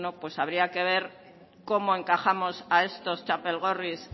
habría que ver cómo encajamos a estos txapelgorris